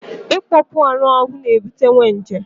Ịkpọọ kpụ anụ ahụ ga ebutenwu nje